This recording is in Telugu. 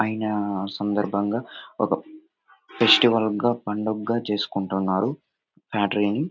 అయినా సందర్భంగా ఒక ఫెస్టివల్ గా పండగా చేసుకుంటున్నారు ఫ్యాక్టరీ ని.